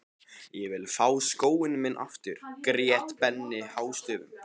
Ég vil fá skóinn minn aftur grét Benni hástöfum.